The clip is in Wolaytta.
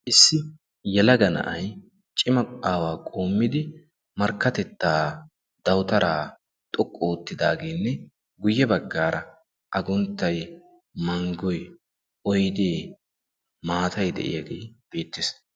issi yalaga na7ai cima aawaa qoommidi markkatettaa dawutaraa xoqqu oottidaageenne guyye baggaara agunttai, manggoi, oidee maatai de7iyaagee beettees.